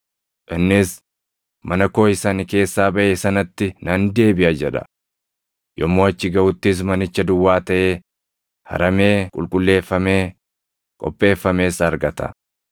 Innis, ‘Mana koo isa ani keessaa baʼe sanatti nan deebiʼa’ jedha. Yommuu achi gaʼuttis manicha duwwaa taʼee, haramee qulqulleeffamee, qopheeffames argata.